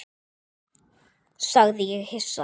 sagði ég hissa.